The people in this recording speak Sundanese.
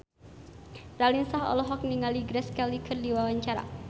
Raline Shah olohok ningali Grace Kelly keur diwawancara